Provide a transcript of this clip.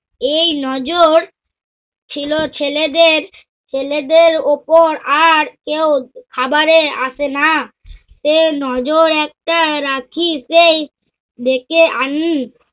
এই নজর ছিল ছেলেদের ছেলেদের ওপর আর কেউ খাবারে আসে না। এই নজর একটা রাখিতেই ডেকে আন।